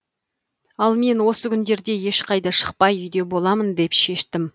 ал мен осы күндерде ешқайда шықпай үйде боламын деп шештім